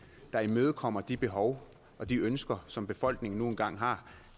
der imødekommer de behov og de ønsker som befolkningen nu engang har